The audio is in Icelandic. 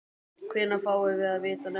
Hvenær fáum við að vita nöfn þeirra?